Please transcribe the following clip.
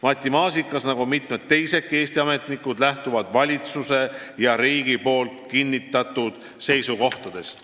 Matti Maasikas ja teisedki Eesti ametnikud lähtuvad Vabariigi Valitsuse ja Riigikogu kinnitatud seisukohtadest.